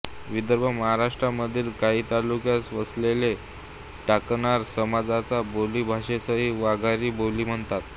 विदर्भ महाराष्ट्र मधील काही तालुक्यात वसलेल्या टाकणकार समाजाच्या बोली भाषेसही वाघरी बोली म्हणतात